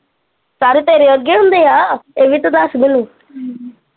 ਸਾਰੇ ਤੇਰੇ ਵਰਗੇ ਹੁੰਦੇ ਆ ਹਿਵੀ ਤਾਂ ਦੱਸ ਮੈਨੂੰ।